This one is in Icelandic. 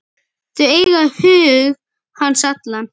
Þau eiga hug hans allan.